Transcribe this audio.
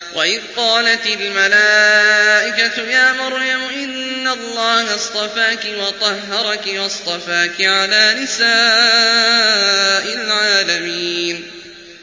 وَإِذْ قَالَتِ الْمَلَائِكَةُ يَا مَرْيَمُ إِنَّ اللَّهَ اصْطَفَاكِ وَطَهَّرَكِ وَاصْطَفَاكِ عَلَىٰ نِسَاءِ الْعَالَمِينَ